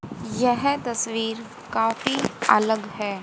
यह तस्वीर काफी अलग है।